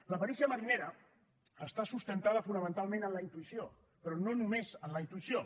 la perícia marinera està sustentada fonamentalment en la intuïció però no només en la intuïció